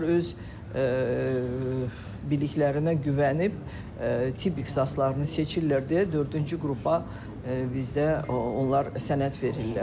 Onlar öz biliklərinə güvənib tibb ixtisaslarını seçirlər deyə dördüncü qrupa bizdə onlar sənəd verirlər.